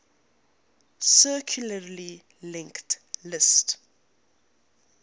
circularly linked list